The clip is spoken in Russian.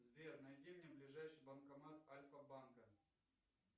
сбер найди мне ближайший банкомат альфа банка